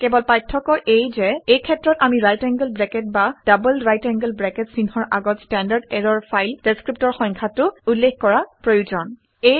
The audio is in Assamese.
কেৱল পাৰ্থক্য এয়ে যে এই ক্ষেত্ৰত আমি ৰাইট এংগোল ব্ৰেকেট বা ডবল ৰাইট এংগোল ব্ৰেকেট চিহ্নৰ আগত ষ্টেণ্ডাৰ্ড ইৰৰৰ ফাইল ডেচক্ৰিপ্টৰ সংখ্যাটো উল্লেখ কৰা প্ৰয়োজন